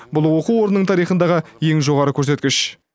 бұл оқу орынның тарихындағы ең жоғары көрсеткіш